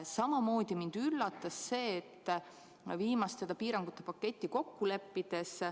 Mind näiteks üllatas, kuidas viimaste piirangute paketti kokku lepiti.